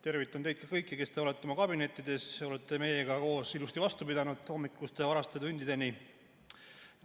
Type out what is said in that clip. Tervitan teid kõiki, kes te olete oma kabinettides ja olete meiega koos ilusti vastu pidanud varaste hommikuste tundideni.